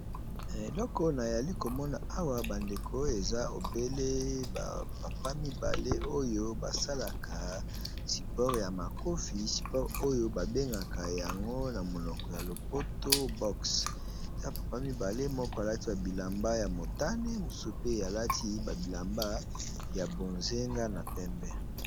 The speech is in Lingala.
Eloko na zali ko mona awa ba ndeko eza obele ba papa mibale oyo ba salaka sport ya makofi . Sport oyo babengaka yango na monoko ya lopoto box . Eza ba papa mibale, moko a lati ba bilamba ya motane, mosusu pe a lati ba bilamba ya bozenga na pembe .